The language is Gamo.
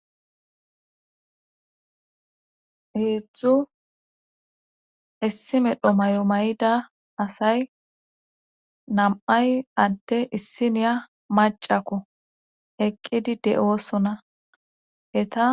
heedzdzu issi medho may7o may7ida asay nam7ay adde issiniya macakko eqqidi de7oosona eta